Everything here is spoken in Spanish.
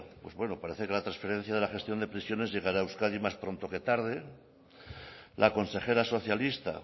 pues bueno parece que la transferencia de la gestión de prisiones llegará a euskadi más pronto que tarde la consejera socialista